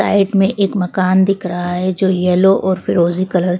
side में एक मकान दिख रहा है जो यलो और फिरोज़ी कलर --